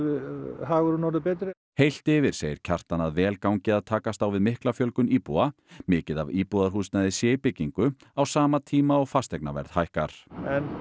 hagurinn orðinn betri heilt yfir segir Kjartan að vel gangi að takast á við mikla fjölgun íbúa mikið af íbúðarhúsnæði sé í byggingu á sama tíma og fasteignaverð hækkar en